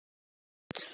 hér við land.